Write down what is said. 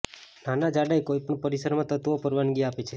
નાના જાડાઈ કોઈપણ પરિસરમાં તત્વો પરવાનગી આપે છે